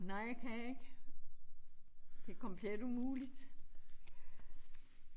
Nej jeg kan ikke. Det komplet umuligt